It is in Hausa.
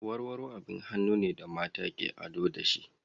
Warwaro abin hannun ne da mata ke ado da shi.